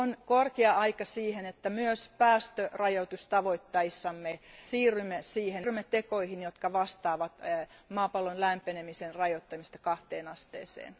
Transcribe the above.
On korkea aika siihen, että myös päästörajoitustavoitteissamme siirrymme tekoihin, jotka vastaavat maapallon lämpenemisen rajoittamista kahteen asteeseen.